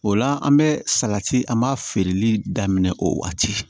O la an bɛ salati an b'a feereli daminɛ o waati